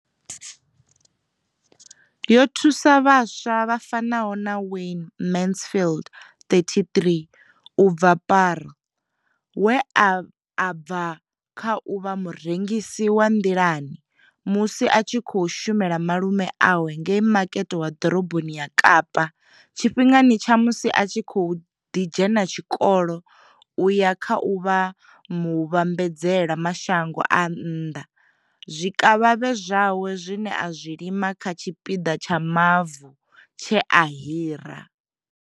Yo thusa vhaswa vha fanaho na Wayne Mansfield, 33, u bva Paarl we a bva kha u vha murengisi wa nḓilani musi a tshi khou shumela malume awe ngei makete wa ḓoroboni ya Kapa tshifhingani tsha musi a kha ḓi dzhena tshikolo u ya kha u vha muvhambadzela mashango a nnḓa zwikavhavhe zwawe zwine a zwi lima kha tshipiḓa tsha mavu tshe a hira.